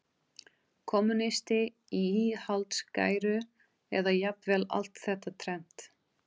kommúnisti í íhaldsgæru, eða jafnvel allt þetta þrennt.